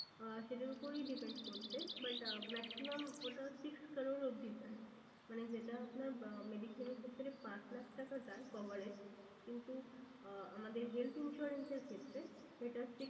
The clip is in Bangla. আহ সেটার ওপরেই depend করছে। but maximum ওটা six crores অবধি যায়। মানে যেটা আপনার আহ mediclaim এর ক্ষেত্রে পাঁচ লাখ টাকা যায় coverage কিন্তু আহ আমাদের health insurance এর ক্ষেত্রে সেটা six